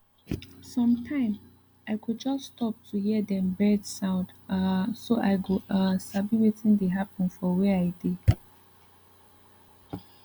sometime i go just stop to hear dem bird sound um so i go um sabi wetin dey happen for where i dey